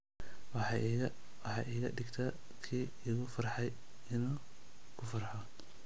Waxay iga dhigtaa kii igu farxay inuu ku farxo